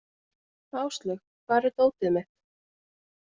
Áslaug, hvar er dótið mitt?